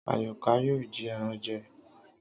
Àyọ̀ká yóò jí ẹran jẹ